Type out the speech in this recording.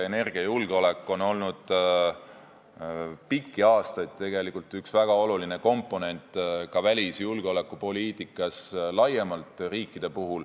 Energiajulgeolek on olnud pikki aastaid riikide üks väga olulisi komponente ka välisjulgeolekupoliitikas laiemalt.